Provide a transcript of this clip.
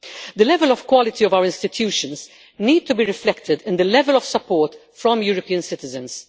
The level of quality of our institutions needs to be reflected in the level of support from European citizens.